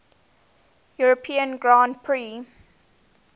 european grand prix